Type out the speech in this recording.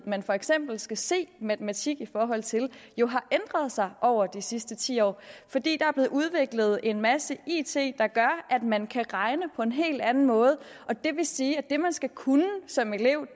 man for eksempel skal se matematik i forhold til jo har ændret sig over de sidste ti år fordi der er blevet udviklet en masse it der gør at man kan regne på en helt anden måde det vil sige at det man skal kunne som elev